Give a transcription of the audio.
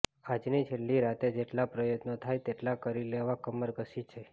આજની છેલ્લી રાતે જેટલા પ્રયત્નો થાય તેટલા કરી લેવા કમર કસી છે